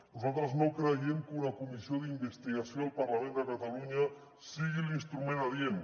nosaltres no creiem que una comissió d’investigació al parlament de catalunya sigui l’instrument adient